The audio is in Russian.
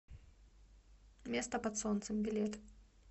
место под солнцем билет